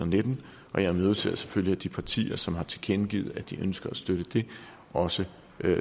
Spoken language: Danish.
nitten og jeg imødeser selvfølgelig at de partier som har tilkendegivet at de ønsker at støtte det også